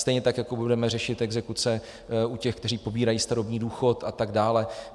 Stejně tak jako budeme řešit exekuce u těch, kteří pobírají starobní důchod a tak dále.